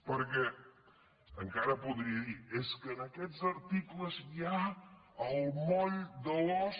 perquè encara podria dir és que en aquests articles hi ha el moll de l’os